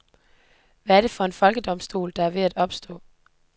Hvad er det for en folkedomstol, der er ved at opstå?